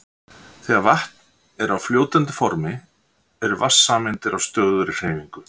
Þegar vatn er á fljótandi formi eru vatnssameindir á stöðugri hreyfingu.